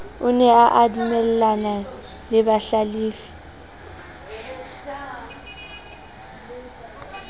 o ne adumellana le bahlalefi